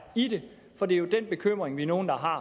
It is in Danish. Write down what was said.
i det for det er jo den bekymring vi er nogle der har